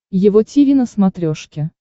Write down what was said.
его тиви на смотрешке